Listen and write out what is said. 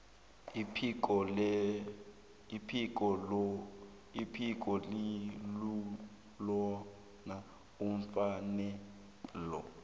iphiko eliwubona ufanele